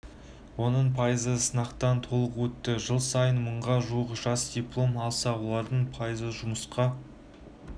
оның пайызы сынақтан толық өтті жыл сайын мыңға жуық жас диплом алса олардың пайызы жұмысқа